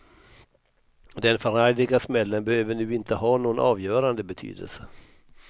Den förargliga smällen behöver nu inte ha någon avgörande betydelse.